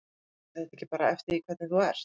Fer þetta ekki bara eftir því hvernig þú ert?